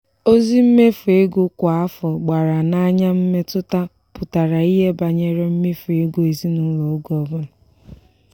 ozi mmefu ego kwa afọ gbara n'anya mmetụta pụtara ihe banyere mmefu ego ezinụlọ oge ọbụla.